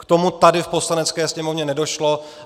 K tomu tady v Poslanecké sněmovně nedošlo.